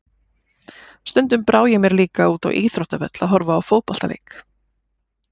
Stundum brá ég mér líka út á íþróttavöll að horfa á fótboltaleik.